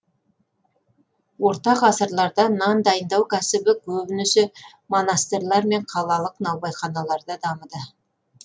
орта ғасырларда нан дайындау кәсібі көбінесе монастырлар мен қалалық наубайханаларда дамыды